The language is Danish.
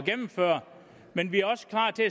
gennemføre men vi er også klar til